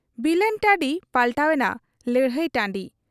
ᱵᱤᱞᱟᱹᱱ ᱴᱟᱺᱰᱤ ᱯᱟᱞᱴᱟᱣ ᱮᱱᱟ ᱞᱟᱹᱲᱦᱟᱹᱭ ᱴᱟᱺᱰᱤ ᱾